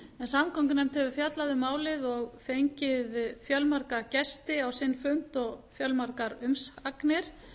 samgöngunefnd hefur fjallað um málið og fengið fjölmarga gesti á sinn fund og fjölmargar umsagnir